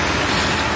Quraşdırılıb.